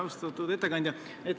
Austatud ettekandja!